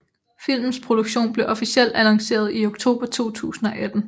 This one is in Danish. Filmens produktion blev officelt annonceret i oktober 2018